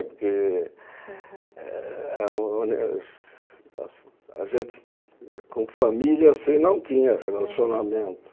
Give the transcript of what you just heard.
Eh eh uh a gente, com família assim, não tinha relacionamento.